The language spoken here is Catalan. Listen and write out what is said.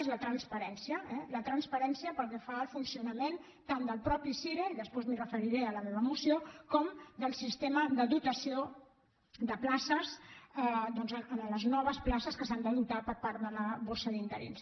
és la transparència eh la transparència pel que fa al funcionament tant del mateix cire i després m’hi referiré en la meva moció com del sistema de dotació de places amb les noves places que s’han de dotar per part de la borsa d’interins